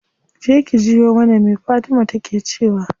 Je ki jiyo mana me fatima take cewa.